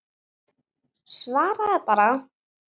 Svaraðu bara.